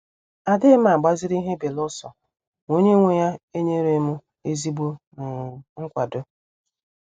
Adighim agbaziri ihe beluso ma onye nwe ya enyere m ezigbo um nkwado.